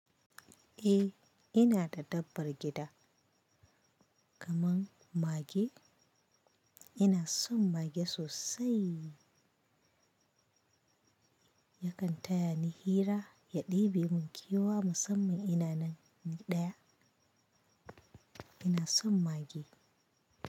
Eh ina da dabbar gida, kamar mage. Ina son mage sosai. Yakan taya ni hira ya ɗibe mun kewa musamman ina nan ɗaya. Ina son mage.